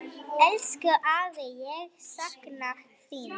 Elsku afi, ég sakna þín.